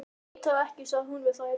Veit það ekki sagði hún við þær.